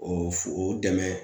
O f o dɛmɛ